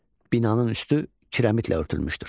Binanın üstü kirəmidlə örtülmüşdür.